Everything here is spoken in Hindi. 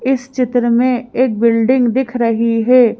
इस चित्र में एक बिल्डिंग दिख रही है।